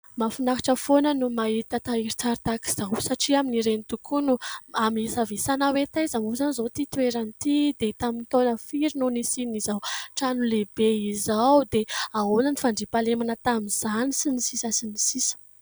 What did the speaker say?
Mahafinaritra foana no mahita tahirin-tsary tahaka izao satria aminy ireny tokoa no amisavisana hoe taiza moa izany izao ity toerana ity dia tamin'ny taona firy no nisian'izao trano lehibe izao dia ahoana ny fandriampahalemana tamin'izany...